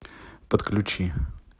подключи